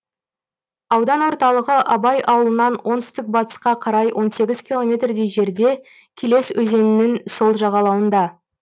аудан орталығы абай ауылынан оңтүстік батысқа қарай он сегіз километрдей жерде келес өзенінің сол жағалауында